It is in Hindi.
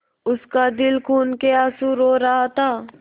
उसका दिल खून केआँसू रो रहा था